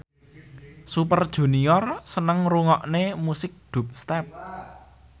Super Junior seneng ngrungokne musik dubstep